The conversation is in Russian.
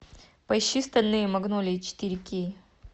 поищи стальные магнолии четыре кей